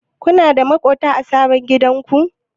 Kuna da maƙwabta a sabon gidanku?